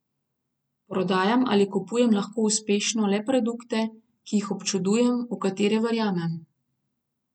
Prodajam ali kupujem lahko uspešno le produkte, ki jih občudujem, v katere verjamem.